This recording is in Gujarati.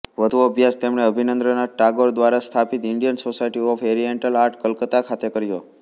વધુ અભ્યાસ તેમણે અભાનિન્દ્રનાથ ટાગોર દ્વારા સ્થાપિત Indian society of oriental art Calcutta ખાતે કર્યો